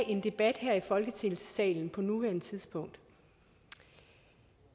en debat her i folketingssalen på nuværende tidspunkt